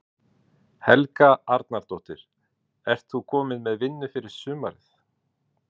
Helga Arnardóttir: Ert þú komin með vinnu fyrir sumarið?